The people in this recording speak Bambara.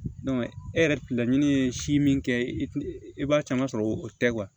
e yɛrɛ laɲini ye si min kɛ i b'a caman sɔrɔ o tɛ